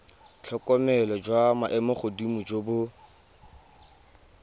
tlhokomelo jwa maemogodimo jo bo